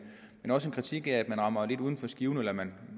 også en kritik af at man rammer lidt uden for skiven eller at man